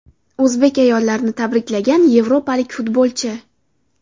O‘zbek ayollarini tabriklagan yevropalik futbolchi.